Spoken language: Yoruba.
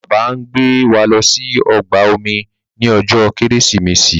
Bàbá ngbé wá ló sì ọgbà omi ní ojó Kérésìmesì.